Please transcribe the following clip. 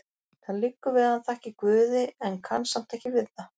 Það liggur við að hann þakki Guði, en kann samt ekki við það.